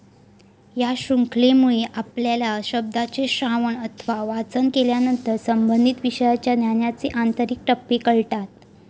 या शृंखलेमुळे आपल्याला शब्दाचे श्रावण अथवा वाचन केल्यानंतर संबंधित विषयाच्या ज्ञानाचे आंतरिक टप्पे कळतात.